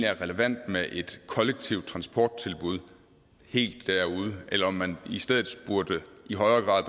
er relevant med et kollektivt transporttilbud helt derude eller om man i stedet i højere grad